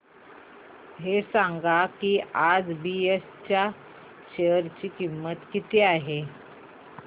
हे सांगा की आज बीएसई च्या शेअर ची किंमत किती आहे